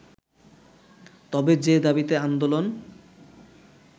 তবে যে দাবিতে আন্দোলন